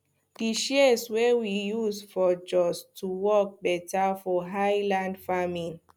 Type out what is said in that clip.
di shears wey we use for jos go work better for highland farming